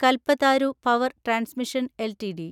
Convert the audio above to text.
Kalpataru power transmission LTD